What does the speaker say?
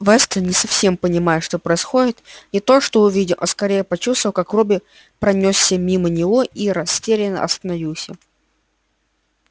вестон не совсем понимая что происходит не то что увидел а скорее почувствовал как робби пронёсся мимо него и растерянно остановился